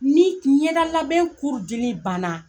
Ni ɲɛda labɛn dili banna